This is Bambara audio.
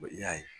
I y'a ye